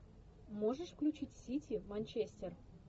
можешь включить сити манчестер